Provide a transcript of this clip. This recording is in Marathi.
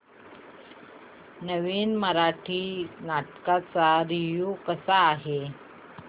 नवीन मराठी नाटक चा रिव्यू कसा आहे